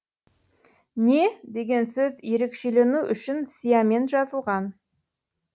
не деген сөз ерекшелену үшін сиямен жазылған